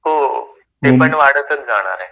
हो, ते पण वाढतच जाणार आहे.